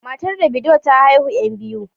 Matar Davido ta haihu yan biyu.